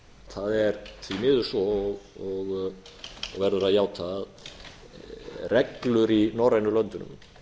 það er því miður svo og verður að játa að reglur í norrænu löndunum